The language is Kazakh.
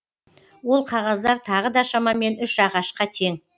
ол қағаздар тағы да шамамен үш ағашқа тең